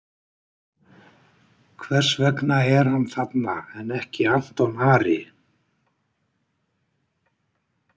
Hvers vegna er hann þarna en ekki Anton Ari?